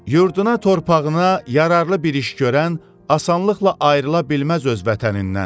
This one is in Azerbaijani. Yurduna, torpağına yararlı bir iş görən asanlıqla ayrıla bilməz öz vətənindən.